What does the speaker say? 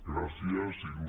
gràcies il